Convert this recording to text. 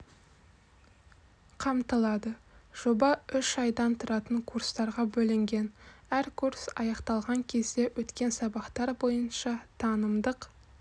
қамтылады жоба үш айдан тұратын курстарға бөлінген әр курс аяқталған кезде өткен сабақтар бойынша танымдық